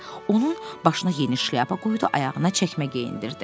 Onun başına yeni şlyapa qoydu, ayağına çəkmə geyindirdi.